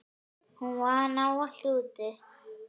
Hún vann ávallt úti.